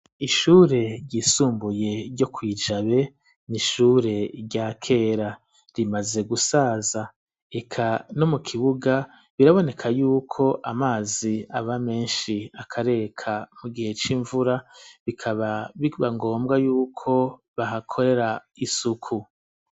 Ishure ryisumbuye ryo kw'ijabe n'ishure rya kera rimaze gusaza eka no mu kibuga biraboneka yuko amazi aba meshi akareka mu gihe c'imvura bikaba bibangombwa yuko bahakorera isuku.